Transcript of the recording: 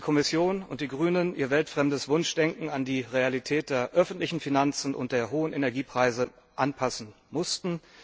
Schön, dass die Kommission und die Grünen ihr weltfremdes Wunschdenken an die Realität der öffentlichen Finanzen und der hohen Energiepreise anpassen mussten.